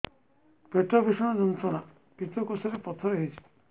ପେଟ ଭୀଷଣ ଯନ୍ତ୍ରଣା ପିତକୋଷ ରେ ପଥର ହେଇଚି